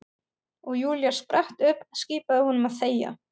Og Júlía spratt upp, skipaði honum að þegja.